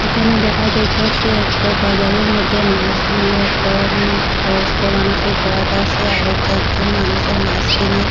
এখানে দেখা যাইতাসে একটা বাজারের মধ্যে মাস লইয়া একটা উম বয়স্ক মানুষে বোয়াদাসে আরো চারজন মানুষে মাস কিনে--